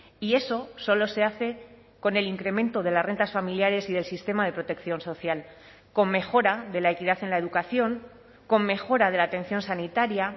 y eso solo se hace con el incremento de las rentas familiares y del sistema de protección social con mejora de la equidad en la educación con mejora de la atención sanitaria